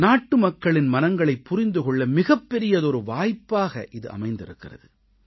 நாட்டுமக்களின் மனங்களைப் புரிந்து கொள்ள மிகப்பெரியதொரு வாய்ப்பாக இது அமைந்திருக்கிறது